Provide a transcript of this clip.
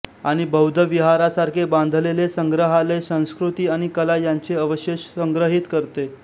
आणि बौद्ध विहारासारखे बांधलेले संग्रहालय संस्कृती आणि कला यांचे अवशेष संग्रहित करते